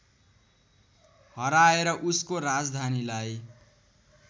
हराएर उसको राजधानीलाई